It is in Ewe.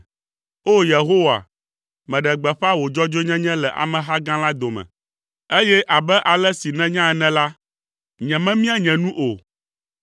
O! Yehowa, meɖe gbeƒã wò dzɔdzɔenyenye le ameha gã la dome, eye abe ale si nènya ene la, nyememia nye nu o.